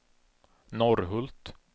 Norrhult